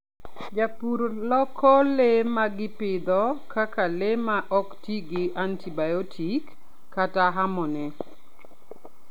Jopur loko le ma gipidho kaka le ma ok ti gi antibiotic kata hormone.